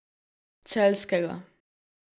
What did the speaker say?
Celjskega.